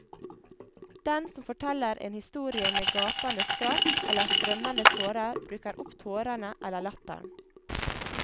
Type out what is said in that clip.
Den som forteller en historie med gapende skratt, eller strømmende tårer, bruker opp tårene eller latteren.